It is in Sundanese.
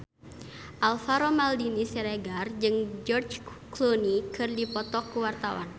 Alvaro Maldini Siregar jeung George Clooney keur dipoto ku wartawan